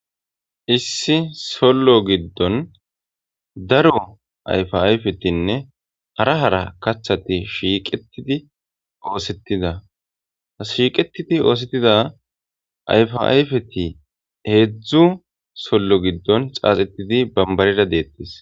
Issi sollo giddon daro ayfa ayfetinne hara hara kaththati shiiqetidi oothetida. Shiiqetidi oothetida ayfa ayfeti heedzu sollo giddon xaaxetidi barbarera deetees.